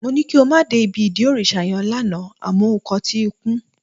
Mó ní kí o má dé ibi ìdí òrìṣà yẹn lánàá àmọ́ o kọtí ikún